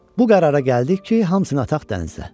Bu qərara gəldik ki, hamısını ataq dənizə.